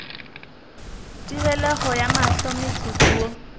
tebelego ya mahlo motsotso wo